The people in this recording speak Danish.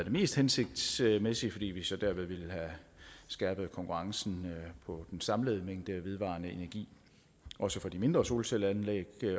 mest hensigtsmæssige fordi vi så derved ville have skærpet konkurrencen på den samlede mængde vedvarende energi også for de mindre solcelleanlæg